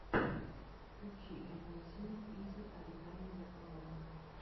включи эмэйзин изи оригами якомога